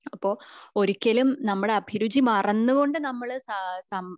അപ്പൊ ഒരിക്കലും നമ്മളുടെ അഭിരുചി മറന്നുകൊണ്ട് നമ്മൾ സ സാം